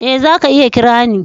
Eh, za ka iya kira ni.